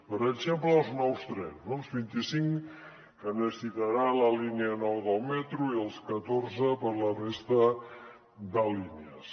per exemple per als nous trens els vint i cinc que necessitarà la línia nou del metro i els catorze per a la resta de línies